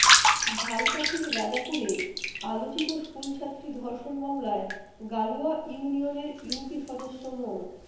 ঝালকাঠির রাজাপুরে আলোচিত স্কুলছাত্রী ধর্ষণ মামলায় গালুয়া ইউনিয়নের ইউপি সদস্য মো